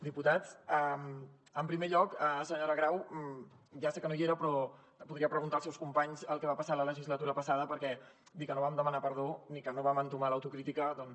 diputats en primer lloc senyora grau ja sé que no hi era però ho podria preguntar als seus companys el que va passar la legislatura passada perquè dir que no vam demanar perdó i que no vam entomar l’autocrítica doncs